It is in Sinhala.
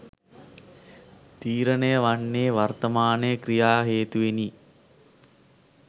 තීරණය වන්නේ වර්තමානය ක්‍රියා හේතුවෙනි